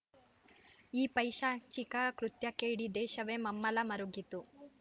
ಈ ಪೈಶಾಚಿಕ ಕೃತ್ಯಕ್ಕೆ ಇಡೀ ದೇಶವೇ ಮಮ್ಮಲ ಮರುಗಿತು